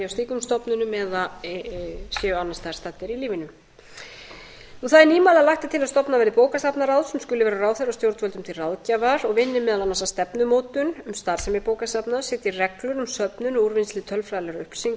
slíkum stofnunum eða séu annars staðar staddir í lífinu það er nýmæli að lagt er til að stofnað verði bókasafnaráð sem skuli vera ráðherra og stjórnvöldum til ráðgjafar og vinni meðal annars að stefnumótun um starfsemi bókasafna setji reglur um söfnun og úrvinnslu tölfræðilegra upplýsinga